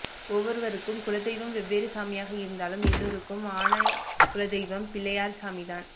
ஒவ்வொருவருக்கும் குல தெய்வம் வெவ்வேறு சாமியா இருந்தாலும் எல்லோருக்கும் ஆன குள தெய்வம் பிள்ளையார் சாமிதான்